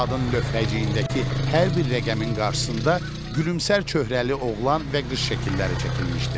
Saatın lövhəciyindəki hər bir rəqəmin qarşısında gülümsər çöhrəli oğlan və qış şəkilləri çəkilmişdi.